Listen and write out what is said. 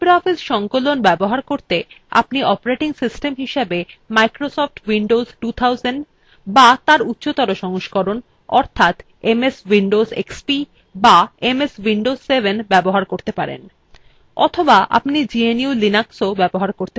libreoffice সংকলন ব্যবহার করতে আপনি operating system হিসাবে microsoft windows 2000 to তার উচ্চতর সংস্করণ অর্থাৎ ms windows xp to ms windows 7 ব্যবহার করতে পারেন অথবা আপনি gnu/linux ব্যবহার করতে পারেন